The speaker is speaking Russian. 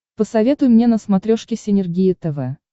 посоветуй мне на смотрешке синергия тв